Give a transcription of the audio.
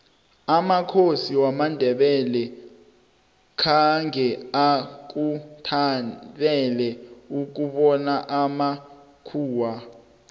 amakhosi wamandebele khange akuthabele ukubona amakhuwa